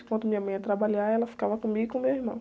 Enquanto minha mãe ia trabalhar, ela ficava comigo e com meu irmão.